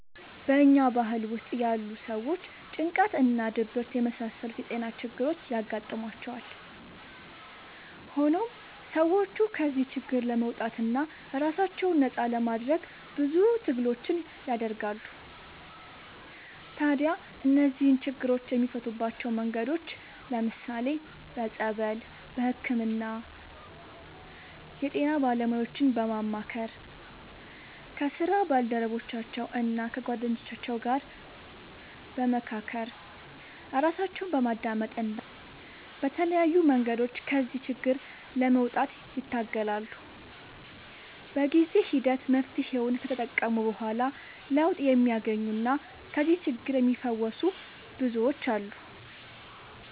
በኛ ባህል ውስጥ ያሉ ሰዎች ጭንቀት እና ድብርት የመሳሰሉት የጤና ችግሮች ያጋጥሟቸዋል። ሆኖም ሰዎቹ ከዚህ ችግር ለመውጣትና ራሳቸውን ነፃ ለማድረግ ብዙ ትግሎችን ያደርጋሉ። ታዲያ እነዚህን ችግሮች የሚፈቱባቸው መንገዶች ለምሳሌ፦ በፀበል፣ በህክምና፣ የጤና ባለሙያዎችን በማማከር፣ ከስራ ባልደረቦቻቸው እና ከጓደኞቻቸው ጋር በመካከር፣ ራሳቸውን በማዳመጥ እና በተለያዩ መንገዶች ከዚህ ችግር ለመውጣት ይታገላሉ። በጊዜ ሂደት መፍትሔውን ከተጠቀሙ በኋላ ለውጥ የሚያገኙና ከዚህ ችግር የሚፈወሱ ብዙዎች አሉ።